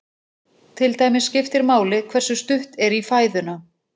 Til dæmis skiptir máli hversu stutt er í fæðuna.